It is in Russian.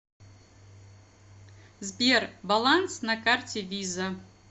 сбер баланс на карте виза